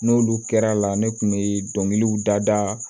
N'olu kɛra la ne kun be dɔnkiliw da da